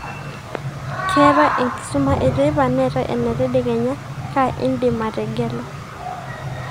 keetae enkisuma eteipa neetae ena tadekenya, kaa indimategelu